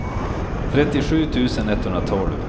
trettiosju tusen etthundratolv